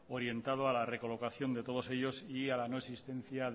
orientado a la recolocación de todos ellos y a la no existencia